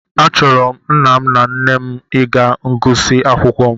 Achọrọ m nna m na nne m ịga ngụsị akwụkwọ m